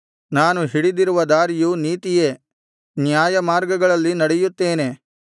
ನಾನು ಹಿಡಿದಿರುವ ದಾರಿಯು ನೀತಿಯೇ ನ್ಯಾಯಮಾರ್ಗಗಳಲ್ಲಿ ನಡೆಯುತ್ತೇನೆ